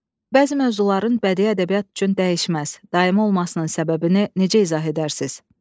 Bəzi mövzuların bədii ədəbiyyat üçün dəyişməz, daimi olmasının səbəbini necə izah edərsiz?